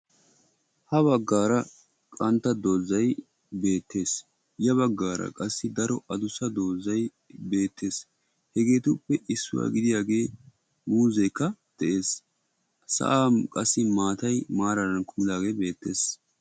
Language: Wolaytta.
Ha baggaara qantta doozay beettees. Ya baggaara qassi daro addussa doozay beettees. Hegeetuppe issuwa gidiyaagee muuzeekka de'ees. Sa'an qassi maataay maaraara kumiidaagee beettees.